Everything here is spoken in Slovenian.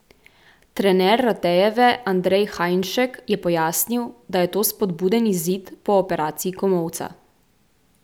Trener Ratejeve Andrej Hajnšek je pojasnil, da je to spodbuden izid po operaciji komolca.